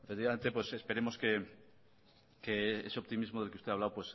efectivamente esperemos que ese optimismo del que usted ha hablado